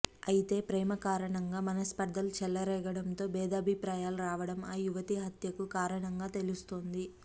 అయితే ప్రేమ కారణంగా మనస్పర్థలు చెలరేగడం తో భేదాభిప్రాయాలు రావడం ఆ యువతి హత్యకు కారణంగా తెలుస్తోంది